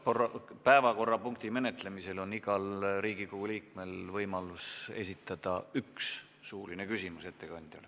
Selle päevakorrapunkti menetlemisel on igal Riigikogu liikmel võimalus esitada ettekandjale üks suuline küsimus.